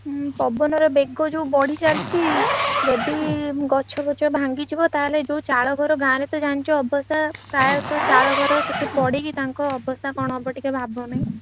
ହୁଁ ପବନ ର ବେଗ ଯୋଉ ବଢିଚାଲିଛି ଯଦି ଗଛ ଫଛ ଭାଙ୍ଗିଯିବ ତାହେଲେ ଯୋଉ ଚାଳଘର ଗାଁରେ ତ ଜାଣିଛ ଅବସ୍ଥା ପ୍ରାୟତ ଚାଳଘର ସେଠି ପଡିକି ତାଙ୍କ ଅବସ୍ଥା କଣ ହବ ଟିକେ ଭାବନି।